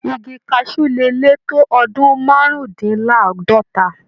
Igi kaṣú le lè tó ọdún márùndínláàádọ́ta.